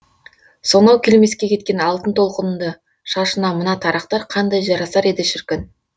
сонау келмеске кеткен алтын толқынды шашына мына тарақтар қандай жарасар еді шіркін